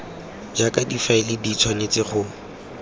jaaka difaele di tshwanetse go